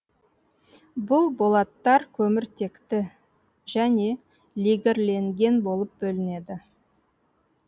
бұл болаттар көміртекті және легірленген болып бөлінеді